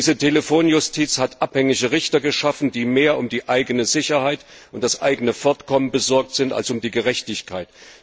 Diese Telefonjustiz hat abhängige Richter geschaffen, die mehr um die eigene Sicherheit und das eigene Fortkommen besorgt sind als um die Gerechtigkeit.